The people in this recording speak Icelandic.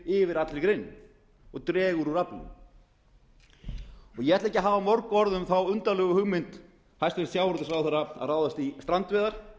yfir allri greininni og dregur úr atvinnu ég ætla ekki að hafa mörg orð um þá undarlegu hugmynd hæstvirtur sjávarútvegsráðherra að ráðast í strandveiðar